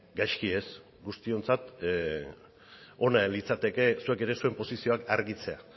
gaizki ez guztiontzat ona litzateke zuek ere zuen posizioak argitzea